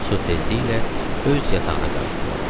Su tezliklə öz yatağına qayıtdı.